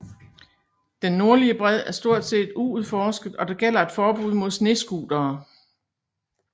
Den nordlige bred er stort set uudforsket og der gælder et forbud mod snescootere